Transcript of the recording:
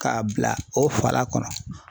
K'a bila o fala kɔnɔ.